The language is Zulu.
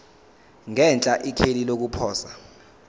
ngenhla ikheli lokuposa